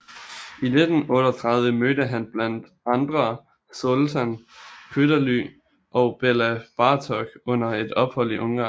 I 1938 mødte han blandt andre Zoltán Kodály og Béla Bartók under et ophold i Ungarn